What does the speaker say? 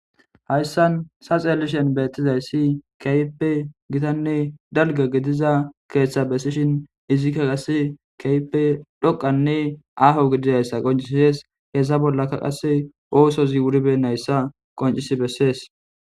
hayssan saxeelishen beettizayssi keyppe gitanne dalga gidiza keeththa bessishin izikka qasse keyppe dhoqanne aaho gididayssa qoncisiyees hessa bollaka qasse oosozi wuribennayssa qoncisi bessees